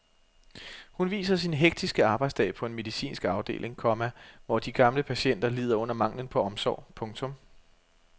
Hun viser sin hektiske arbejdsdag på en medicinsk afdeling, komma hvor de gamle patienter lider under manglen på omsorg. punktum